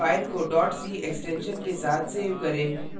file को c extension के साथ सेव करें